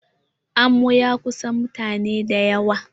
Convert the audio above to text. Amo ya ƙunsa mutane dayawa.